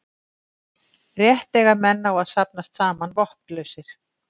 Rétt eiga menn á að safnast saman vopnlausir.